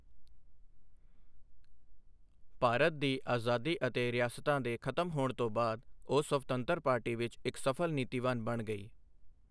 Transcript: ਭਾਰਤ ਦੀ ਆਜ਼ਾਦੀ ਅਤੇ ਰਿਆਸਤਾਂ ਦੇ ਖ਼ਤਮ ਹੋਣ ਤੋਂ ਬਾਅਦ, ਉਹ ਸਵਤੰਤਰ ਪਾਰਟੀ ਵਿੱਚ ਇੱਕ ਸਫ਼ਲ ਨੀਤੀਵਾਨ ਬਣ ਗਈ।